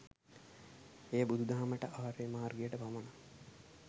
එය බුදුදහමට, ආර්ය මාර්ගයට පමණක්